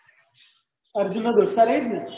અર્જુન નો દોસ્ત એ જ ને